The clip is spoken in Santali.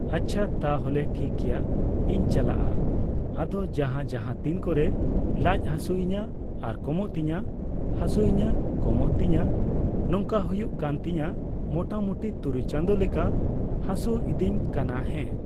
ᱟᱪᱪᱷᱟ ᱛᱟᱦᱚᱞᱮ ᱴᱷᱤᱠ ᱜᱮᱭᱟ ᱤᱧ ᱪᱟᱞᱟᱜᱼᱟ ᱟᱫᱚ ᱡᱟᱦᱟ ᱡᱟᱦᱟᱛᱤᱱ ᱠᱚᱨᱮ ᱞᱟᱡ ᱦᱟᱹᱥᱩᱭᱤᱧᱟᱹ ᱟᱨ ᱠᱚᱢᱚᱜ ᱛᱤᱧᱟᱹ ᱦᱟᱹᱥᱩᱭᱤᱧᱟᱹ ᱠᱚᱢᱚᱜ ᱛᱤᱧᱟᱹ ᱱᱚᱝᱠᱟ, ᱦᱩᱭᱩᱜ ᱠᱟᱱ ᱛᱤᱧᱟᱹ ᱢᱳᱴᱟᱢᱩᱴᱤ ᱛᱩᱨᱩᱭ ᱪᱟᱸᱫᱚ ᱞᱮᱠᱟ ᱦᱟᱹᱥᱩᱤᱫᱤᱧ ᱠᱟᱱᱟ ᱦᱮᱸ